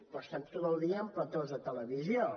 però estan tot el dia en platós de televisió